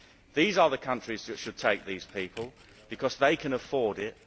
These are the countries that should take these people because they can afford it.